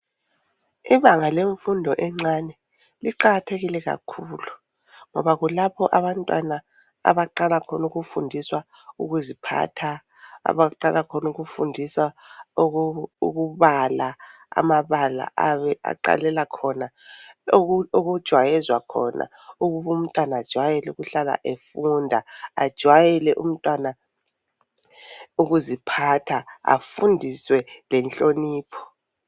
Ibanga lemfundo encane liqakathekile kakhulu ngoba kulapho abantwana abaqala khona ukufundiswa ukuziphatha, abaqala khona ukufundiswa ukubala amabala ayabe aqalela khona, okujayezwa khona ukuba umntwana ajayele ukuhlala efunda, ajwayele umntwana ukuziphatha afundiswe lenhlonipho.